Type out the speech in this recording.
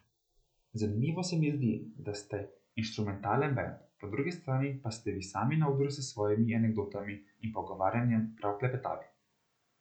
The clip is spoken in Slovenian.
Zanimivo se mi zdi, da ste inštrumentalen bend, po drugi strani pa ste vi sami na odru s svojimi anekdotami in pogovarjanjem prav klepetavi.